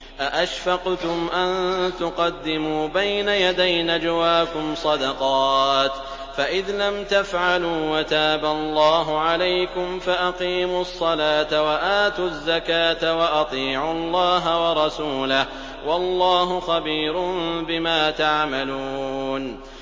أَأَشْفَقْتُمْ أَن تُقَدِّمُوا بَيْنَ يَدَيْ نَجْوَاكُمْ صَدَقَاتٍ ۚ فَإِذْ لَمْ تَفْعَلُوا وَتَابَ اللَّهُ عَلَيْكُمْ فَأَقِيمُوا الصَّلَاةَ وَآتُوا الزَّكَاةَ وَأَطِيعُوا اللَّهَ وَرَسُولَهُ ۚ وَاللَّهُ خَبِيرٌ بِمَا تَعْمَلُونَ